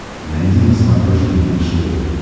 найди на смотрешке бридж тв